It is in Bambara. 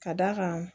Ka d'a kan